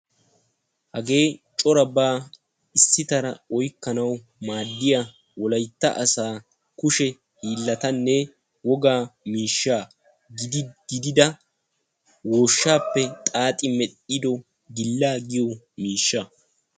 Hagee coraba issi bolla oyqqannawu maaddiya woyshshappe xaaxetti merettiya gillaa.